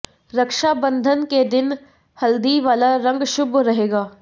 रक्षा बंधन के दिन हल्दी वाला रंग शुभ रहेगा